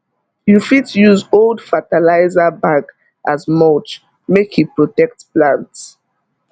you fit use old fertilizer bag as mulch make e protect plant